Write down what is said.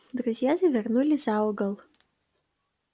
друзья завернули за угол